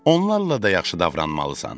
Onlarla da yaxşı davranmalısan.